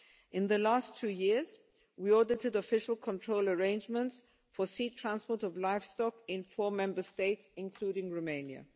In the last two years we audited official control arrangements for sea transport of livestock in four Member States, including Romania.